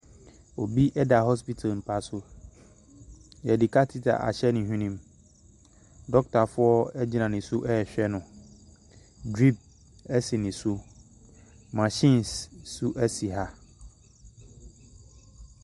Obi da hospital mpa so. Wɔde katita ahyɛ ne hwenem. Dɔkotafoɔ gyina ne so rehwɛ no. Drip si ne so. Machines nso si ha.